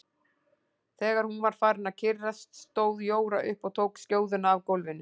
Þegar hún var farin að kyrrast stóð Jóra upp og tók skjóðuna af gólfinu.